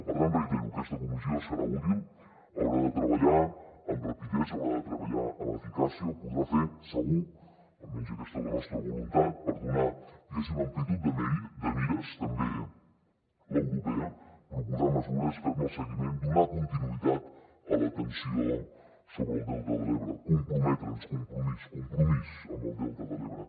per tant ho reitero aquesta comissió serà útil haurà de treballar amb rapidesa haurà de treballar amb eficàcia ho podrà fer segur almenys aquesta és la nostra voluntat per donar diguéssim amplitud de mires també l’europea proposar mesures fer ne el seguiment donar continuïtat a l’atenció sobre el delta de l’ebre comprometre’ns compromís compromís amb el delta de l’ebre